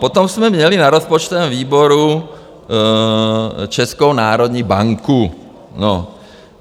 Potom jsme měli na rozpočtovém výboru Českou národní banku.